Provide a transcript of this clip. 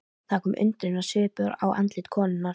Það kom undrunarsvipur á andlit konunnar.